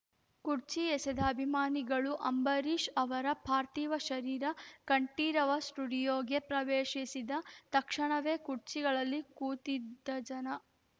ಕುರ್ಚಿ ಎಸೆದ ಅಭಿಮಾನಿಗಳು ಅಂಬರೀಷ್‌ ಅವರ ಪಾರ್ಥಿವ ಶರೀರ ಕಂಠೀರವ ಸ್ಟುಡಿಯೋಗೆ ಪ್ರವೇಶಿಸಿದ ತಕ್ಷಣವೇ ಕುರ್ಚಿಗಳಲ್ಲಿ ಕೂತಿದ್ದ ಜನ